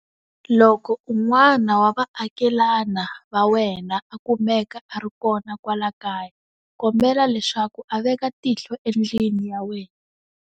Loko un'wana wa vaakelana va wena a kumeka a ri kona kwala kaya, kombela leswaku a veka tihlo endlwini ya wena.